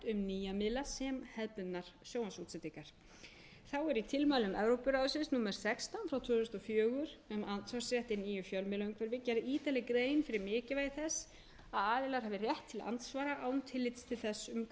nýja miðla sem hefðbundnar sjónvarpsútsendingar þá er í tilmælum evrópuráðsins númer sextán frá tvö þúsund og fjögur um andsvarsrétt í nýju fjölmiðlaumhverfi gerð ítarleg grein fyrir mikilvægi þess að aðilar hafi rétt til andsvara án tillits til þess um hvers konar miðil er að ræða